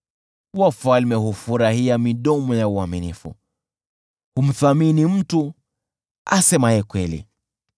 Wafalme hufurahia midomo ya uaminifu; humthamini mtu asemaye kweli.